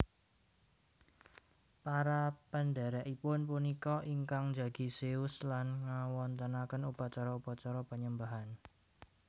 Para pendhèrèkipun punika ingkang njagi Zeus lan ngawontenaken upacara upacara panyembahan